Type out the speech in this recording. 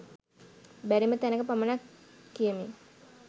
බැරිම තැනක පමණක් කියමි